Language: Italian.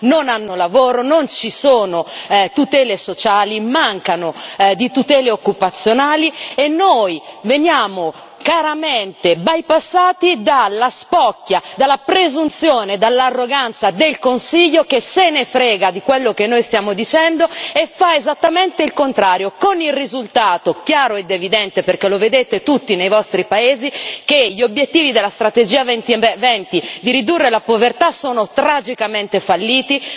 non hanno lavoro, non ci sono tutele sociali, mancano di tutele occupazionali e noi veniamo caramente bypassati dalla spocchia, dalla presunzione, dall'arroganza del Consiglio, che se ne frega di quello che noi stiamo dicendo e fa esattamente il contrario, con il risultato chiaro ed evidente perché lo vedete tutti nei vostri paesi che gli obiettivi della strategia 2020 di ridurre la povertà sono tragicamente falliti.